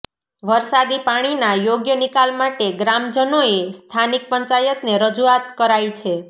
વરસાદી પાણીના યોગ્ય નિકાલ માટે ગ્રામજનોએ સ્થાનિક પંચાયતને રજુઆત કરાઇ છે